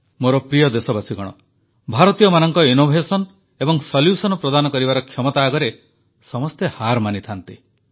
ମୋର ପ୍ରିୟ ଦେଶବାସୀଗଣ ଭାରତୀୟମାନଙ୍କ ନବସୃଜନ ଏବଂ ସମାଧାନ ପ୍ରଦାନ କରିବାର କ୍ଷମତା ଆଗରେ ସମସ୍ତେ ହାର ମାନିଥାନ୍ତି